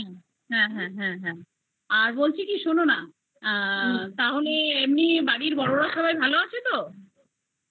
হ্যা হ্যা হ্যা হ্যা আর বলছি কি শোনো না তাহলে এমনি বাড়ির সবাই বড়োরা ভালো আছে তো